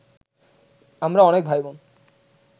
আমরা অনেক ভাইবোন